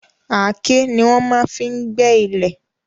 Àáké ni wọ́n máa n fí gbé ilẹ̀